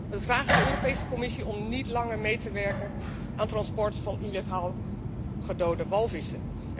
We vragen de Europese Commissie om niet langer mee te werken aan het transport van illegaal gedode walvissen.